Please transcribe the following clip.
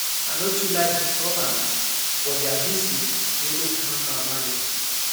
i no too like disturbance but their visit really calm my mind